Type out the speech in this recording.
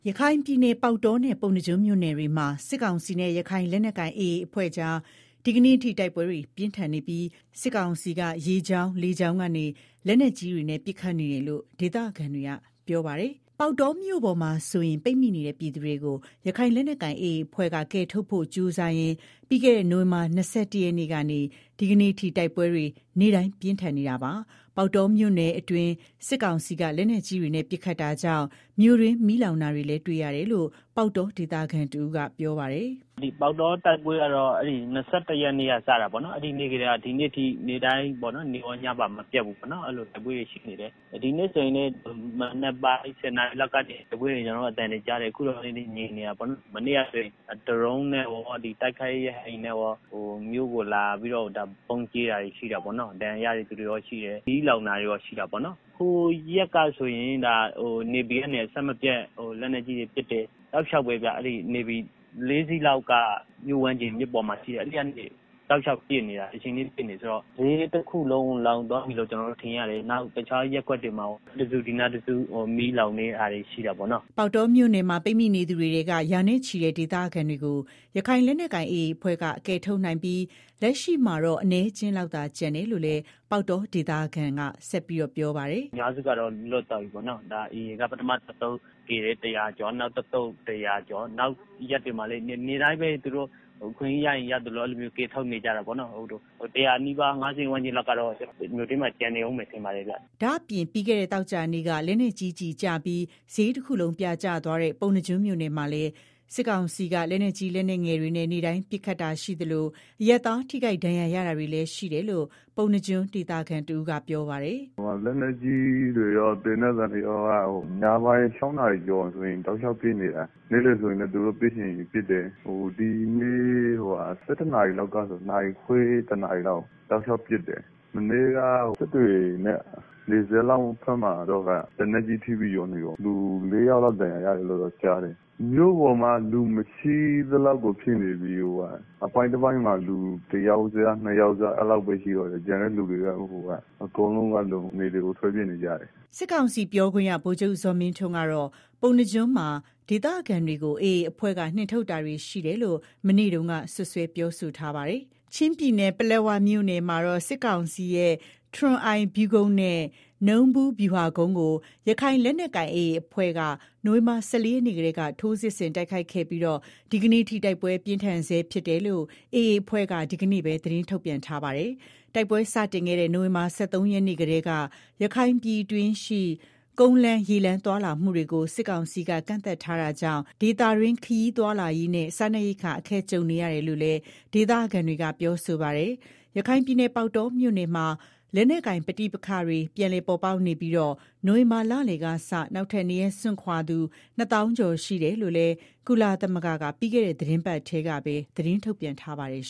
ရခိုင်ပြည်နယ်က ပေါက်တောနဲ့ ပုဏ္ဏားကျွန်းမြို့နယ်တွေမှာ စစ်ကောင်စီနဲ့ ရခိုင်လက်နက် ကိုင်AAအဖွဲ့ကြား ဒီကနေ့အထိ တိုက်ပွဲတွေပြင်းထန်နေပြီး စစ်ကောင်စီက ရေကြောင်း လေကြောင်းကနေ လက်နက်ကြီးတွေနဲ့ ပစ်ခတ်နေတယ်လို့ ဒေသခံတွေ ကပြောဆိုကြ ပါတယ်။ ပေါက်တောမြို့ပေါ်မှာဆိုရင် ပိတ်မိနေတဲ့ ပြည်သူတွေကို ရခိုင်လက်နက်ကိုင်AAအဖွဲ့က ကယ်ထုတ်ဖို့ကြီးစားရင် ပြီးခဲ့တဲ့ နိုင်ဝင်ဘာလ ၂၁ရက်နေ့ကနေ ဒီကနေ့ တိုက်ပွဲတွေ နေ့တိုင်းပြင်းထန်နေတာပါ။ပေါက်တောမြို့အတွင်း စစ်ကောင်စီက လက်နက်ကြီးတွေနဲ့ ပစ်ခတ်တာကြောင့် မြို့တွင်းမီးလောင်နေတာတွေကို တွေ့ရတယ်လို့လည်း ပေါက်တောဒေသခံတဦးကပြောပါတယ်။ “ ပေါက်တော တိုက်ပွဲကတော့ ၂၁ရက်နေ့က စတာပေါ့နော်၊ အဲဒီနေ့ကတည်းက ဒီနေ့အထိ နေ့တိုင်း နေ့ကောညပါမပျက်ဘူးတိုက်ပွဲတွေ ရှိနေတယ်၊ ဒီကနေ့ ဆိုရင်လည်း မနက်ပိုင်း ၁ဝနာရီလောက်ကနေ တိုက်ပွဲသံတွေကြားတယ် အခုတော့ ငြိမ်နေတာပေါေ့နာ်။ မနေ့ကလည်း ဒရုန်းနဲ့ရော တိုက်ခိုက်ရေး ရဟတ်ယာဉ်နဲ့ရော မြို့ကို လာပြီးတော့ ဗုံးကြဲတာတွေရှိတာပေါ့နော်၊ ဒဏ်ရာရတဲ့ သူတွေလည်းရှိတယ်၊ မီးလောင်တာတွေ လည်းရှိတယ်၊ ဟိုရက်ကဆိုရင် နေဗီကနေ အဆက်မပြတ် လက်နက်ကြီးတွေ ပစ်တယ်၊ တောက်လျောက်ပဲဗျာ နေဗီ၄စီးလောက်က ပစ်နေတာ၊ မီးတွေလောင်တယ် ဆိုတော့ ဈေးတခုလုံး လောင်သွားပြီလို့ကျနော်တို့ ထင်ရတယ်၊နောက် ဟိုနားတခု ဒီနားတစု မီးလောင်နေတာရှိတာပေါ့နော်။” ပေါက်တောမြို့မှာပိတ်မိနေသူတွေထဲက ရာနဲ့ချီတဲ့ ဒေသခံတွေကို ရခိုင်လက်နက်ကိုင် AA အဖွဲ့ကကယ်ထုတ်နိုင်ပြီး လက်ရှိမှာတော့အနည်းအကျင်းလောက် သာကျန်တော့ တယ်လို့လည်း ပေါက်တောဒေသခံကဆက်ပြောပါတယ်။ “ကျနော်တို့ အထင် အများစုက လွတ်သွားကြပြီ AA က ပထမ တသုတ်ကယ်တယ်။ ၁ဝဝကျော် နောက်တသုတ် ၁ဝဝကျော် နောက်ရက်တွေမှာလည်း နေ့တိုင်းပဲ သူတို့ အခွင့်ရေးရရင် ရသလို ကယ်ထုတ်နေကြတာပေါ့နော်၊ အများစုက လွတ်သွားပြီထင်ပါတယ်၊ ဒါပေမယ့် ၁ဝဝနီးပါး ၅ဝဝန်းကျင်လောက်ကတော့ မြို့ထဲမှာ ကျန်နေအုံးမယ်ထင်ပါတယ်ဗျာ။” ဒါ့အပြင့် ပြီးခဲ့တဲ့ သောကြာနေ့က လက်နက်ကြီးကျပြီး ဈေးတခုလုံးပြာကျသွားတဲ့ ပုဏ္ဏားကျွန်းမြို့နယ်မှာလည်း စစ်ကောင်စီက လက်နက်ကြီး လက်နက်ငယ်တွေနဲ့ နေ့တိုင်း ပစ်ခတ်နေတာရှိသလို အရပ်သားထိခိုက်ဒဏ်ရာရတာတွေလည်းရှိတယ်လို့ ပုဏ္ဏား ကျွန်းဒေသခံတဦးကပြောပါတယ်။ “ လက်နက်ကြီးတွေရော သေနတ်သံတွေက ညပိုင်း ၆နာရီလောက်ဆိုရင် တောက်လျောက် ပစ်နေတာ၊ နေ့လည်ဆိုရင်လည်း သူတို့ ပစ်ချင်ရင် ပစ်တယ်၊ ဒီနေ့ ၁၁နာရီလောက်ကစပြီး တောက်လျောက်ပစ်တယ်၊ မနေ့ကတော့ နယ်ဘက်က စစ်တွေနဲ့နီးတဲ့ ရွာမှာတော့ လက်နက်ကြီးကျပြီး ၄ယောက်လောက် ဒဏ်ရာရတယ်လို့ ကြားတယ်၊ မြို့ပေါ်မှာက လူမရှိသလောက်ဖြစ်နေပြီ အပိုင်းတပိုင်းမှာ လူတယောက်စ ၂ယောက် စလောက်ပဲရှိတော့တာ ကျန်တဲ့ သူတွေ အကုန်လုံးက နယ်တွေကို ထွက်ပြေးနေကြတယ်။” စစ်ကောင်စီပြောခွင့်ရ ဗိုလ်ချုပ်ဇော်မင်းထွန်းကတော့ ပုဏ္ဏားကျွန်းမှာ ဒေသခံတွေကို AA အဖွဲ့က နှင်ထုတ်တာတွေ ရှိနေတယ်လို့ မနေ့တုန်းကပဲ စွပ်စွဲပြောဆိုထားပါတယ်။ ချင်းပြည်နယ် ပလက်ဝမြို့နယ်မှာတော့ စစ်ကောင်စီရဲ့ ထရွန်အိုင်ဗျူးကုန်းနဲ့ နူးဗူးဗျူဟာကုန်းကို ရခိုင်လက်နက်ကိုင်AAအဖွဲ့က နိုဝင်ဘာလ ၁၄ရက်နေ့ကတည်းက ထိုးစစ်ဆင်တိုက်ခိုက်ခဲ့ပြီး ဒီကနေ့အထိတိုက်ပွဲပြင်းထန်နေဆဲဖြစ်တယ်လို့ AA အဖွဲ့က ဒီကနေ့ပဲ သတင်းထုတ်ပြန်ထားတာပါ။ တိုက်ပွဲစတင်ခဲ့တဲ့ နိုဝင်ဘာလ ၁၃ရက်နေ့ကတည်း ရခိုင်ပြည်တွင်းရှိ ကုန်းလမ်းရေလမ်း သွားလာမှုတွေကို စစ်ကောင်စီက ကန့်သတ်ထားတာကြောင့် ဒေသတွင်း ခရီးသွားလာရေးနဲ့ စားနပ်ရိက္ခာ အခက်ကြုံနေရတယ်လို့လည်း ဒေသခံတွေက ပြောဆိုကြပါတယ်။ ရခိုင်ပြည်နယ် ပေါက်တောမြို့နယ်မှာ လက်နက်ကိုင် ပဋိပက္ခတွေ ပြန်လည်ပေါ်ပေါက်နေပြီး နိုဝင်ဘာလလယ်ကစ နောက်ထပ်နေရပ်စွန့်ခွာရသူ ၂ သောင်းကျော် ရှိတယ်လို့လည်း ကုလသမဂ္ဂက ပြီးခဲ့တဲ့ သီတင်းပတ်ထဲမှာပဲ သတင်းထုတ်ပြန်ထားပါတယ်